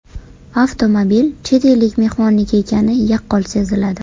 Avtomobil chet ellik mehmonniki ekani yaqqol seziladi.